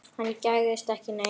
Hann gægðist ekki neitt.